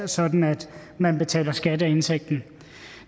sådan at man betaler skat af indtægten